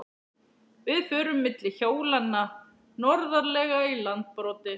Við förum milli hólanna norðarlega í Landbroti.